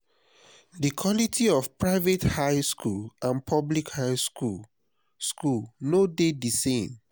di quality of private high school and public high school school no de di same